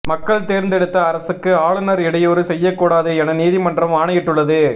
மக்கள் தேர்ந்தெடுத்த அரசுக்கு ஆளுநர் இடையூறு செய்யக்கூடாது என நீதிமன்றம் ஆணையிட்டுள்ளது